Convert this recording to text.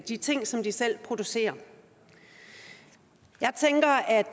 de ting som de selv producerer jeg tænker at